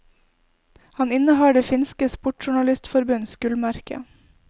Han innehar det finske sportsjournalistforbunds gullmerke.